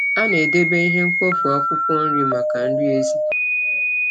A na-edebe ihe mkpofu akwụkwọ nri maka nri ezì.